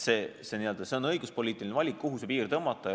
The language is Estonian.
See on õiguspoliitiline valik, kuhu see piir tõmmata.